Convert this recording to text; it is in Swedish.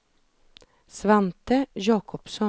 Svante Jakobsson